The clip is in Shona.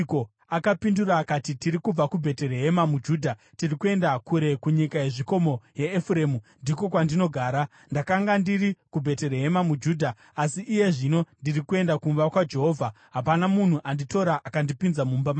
Akapindura akati, “Tiri kubva kuBheterehema muJudha; tiri kuenda kure kunyika yezvikomo yeEfuremu, ndiko kwandinogara. Ndakanga ndiri kuBheterehema muJudha, asi iye zvino ndiri kuenda kumba kwaJehovha. Hapana munhu anditora akandipinza mumba make.